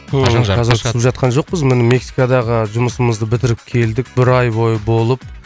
қазақша түсіп жатқан жоқпыз міне мексикадағы жұмысымызды бітіріп келдік бір ай бойы болып